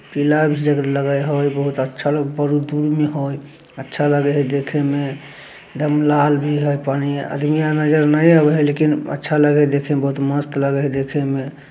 पीला भी जग लगे बहुत अच्छा बड़ी दूर में हय। अच्छा लगे हैय देखे में। एकदम लाल भी हैय पानी है। आदमी आर नज़र नहीं आवे है। लेकिन अच्छा लगे है देखे में बहोत मस्त लगे है देखे में।